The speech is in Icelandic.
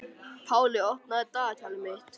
Páley, opnaðu dagatalið mitt.